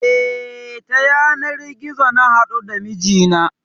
E, ta yanar gizo na haɗu da mijina.